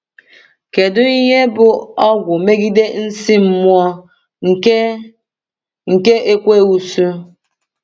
Kedu ihe bụ ọgwụ megide nsí mmụọ nke nke Ekweusu?